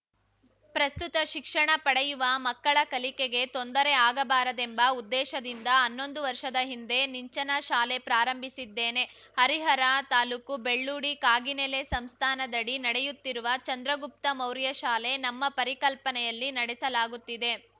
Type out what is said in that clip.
ಪ್ರಸ್ತುತ ಶಿಕ್ಷಣ ಪಡೆಯುವ ಮಕ್ಕಳ ಕಲಿಕೆಗೆ ತೊಂದರೆ ಆಗಬಾರದೆಂಬ ಉದ್ದೇಶದಿಂದ ಹನ್ನೊಂದು ವರ್ಷದ ಹಿಂದೆ ನಿಂಚನ ಶಾಲೆ ಪ್ರಾರಂಭಿಸಿದ್ದೇನೆ ಹರಿಹರ ತಾಲೂಕು ಬೆಳ್ಳೂಡಿ ಕಾಗಿನೆಲೆ ಸಂಸ್ಥಾನದಡಿ ನಡೆಯುತ್ತಿರುವ ಚಂದ್ರಗುಪ್ತ ಮೌರ್ಯಶಾಲೆ ನಮ್ಮ ಪರಿಕಲ್ಪನೆಯಲ್ಲಿ ನಡೆಸಲಾಗುತ್ತಿದೆ